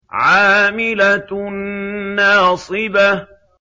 عَامِلَةٌ نَّاصِبَةٌ